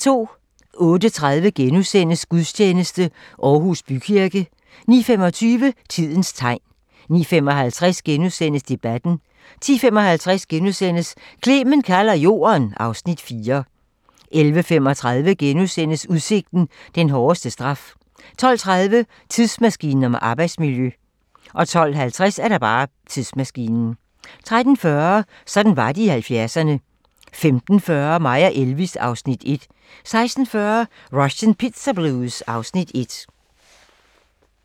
08:30: Gudstjeneste: Aarhus Bykirke * 09:25: Tidens tegn 09:55: Debatten * 10:55: Clement kalder Jorden (Afs. 4)* 11:35: Udsigten – den hårdeste straf * 12:30: Tidsmaskinen om arbejdsmiljø 12:50: Tidsmaskinen 13:40: Sådan var det i 70'erne 15:40: Mig & Elvis (Afs. 1) 16:40: Russian Pizza Blues (Afs. 1)